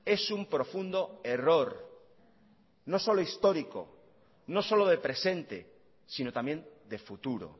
es un profundo error no solo histórico no solo de presente sino también de futuro